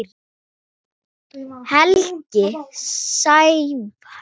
Helgi Sævar.